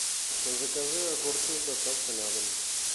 закажи огурцы с доставкой на дом